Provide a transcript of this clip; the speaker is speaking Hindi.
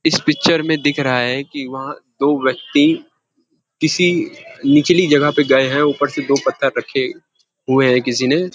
इस पिक्चर में दिख रहा है कि वहाँ दो व्यक्ति किसी निचली जगह पर गए हैं ऊपर से दो पत्थर रखे हुए हैं किसी ने।